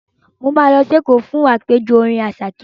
Mo máa lọ sí Èkó fún àpèjọ orin Àṣàké.